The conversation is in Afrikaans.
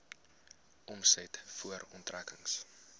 omset voor aftrekkings